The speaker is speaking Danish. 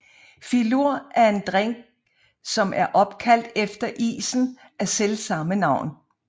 Filur er en drink som er opkaldt efter isen af selvsamme navn